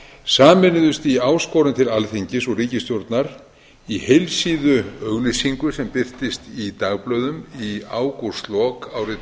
sameinuðust í áskorun til alþingis og ríkisstjórnar í heilsíðuauglýsingu sem birtist í dagblöðum í ágústlok árið